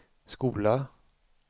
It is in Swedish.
skola